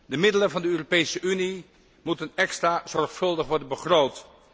De middelen van de Europese Unie moeten extra zorgvuldig worden begroot.